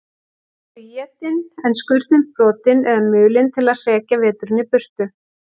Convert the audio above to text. Þau voru etin, en skurnin brotin eða mulin til að hrekja veturinn í burtu.